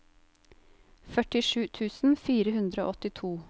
førtisju tusen fire hundre og åttito